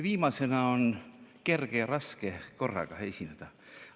Viimasena on korraga kerge ja raske esineda.